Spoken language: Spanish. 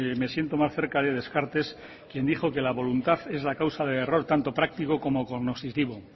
me siento más cerca de descartes quien dijo que la voluntad es la causa del error tanto práctico como cognoscitivo